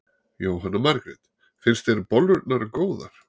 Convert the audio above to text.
Jóhanna Margrét: Finnst þér bollurnar góðar?